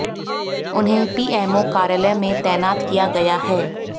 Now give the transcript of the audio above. उन्हें पीएमओ कार्यालय में तैनात किया गया है